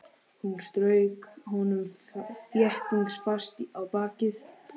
Hún strauk honum þéttingsfast á bakið.